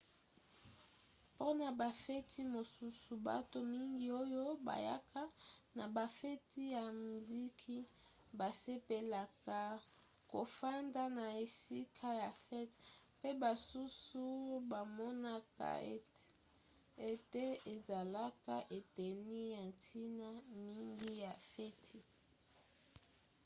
mpona bafeti mosusu bato mingi oyo bayaka na bafeti ya miziki basepelaka kofanda na esika ya fete mpe basusu bamonaka ete ezalaka eteni ya ntina mingi ya feti